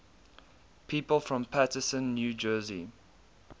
people from paterson new jersey